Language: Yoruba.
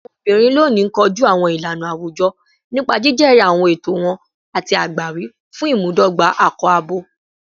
Awọn obinrin loni koju awọn ilana awujọ nipa jijẹri awọn ẹtọ wọn ati agbawi fun imudogba akọ-abo